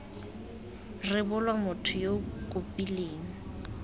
rebolwa motho yo o kopileng